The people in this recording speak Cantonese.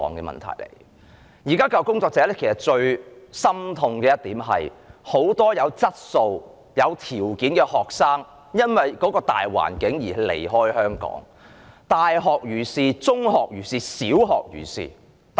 現時教育工作者最心痛的一點是，很多有質素、有條件的學生，因為大環境而離開香港；大學如是、中學如是，小學亦如是。